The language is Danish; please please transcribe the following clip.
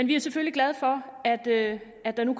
vi er selvfølgelig glade for at at der nu